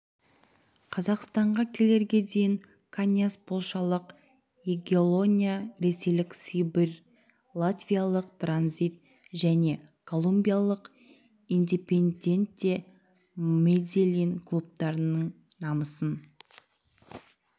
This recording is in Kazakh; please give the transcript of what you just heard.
қазақстанға келерге дейін каньяс полшалық ягеллония ресейлік сибирь латвиялық транзит және колумбиялық индепендьенте медельин клубтарының намысын